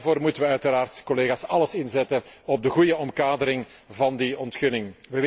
Daarom moeten we uiteraard, collega's, alles inzetten op de goede omkadering van die ontginning.